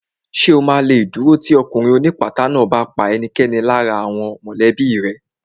Ṣè o ma lè dúró tì ọkùnrin ó ní ìpátá náà bá pa ẹnikẹ́ni lára àwọn mọ̀lẹ́bí rẹ̀